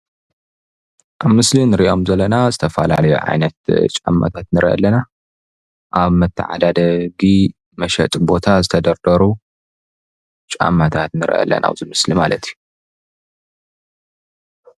አብ ምስሊንሪኦም ዘለና ዝተፈላለዩ ዓይነት ጫማ ንርኢለና አብ መተዓዳደጊ መሸጢ ቦታ ዝተደርደሩ ጫማታት ንርኢለና ኣብዚ ምስሊ ማለት እዩ።